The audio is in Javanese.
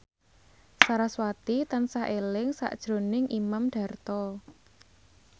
sarasvati tansah eling sakjroning Imam Darto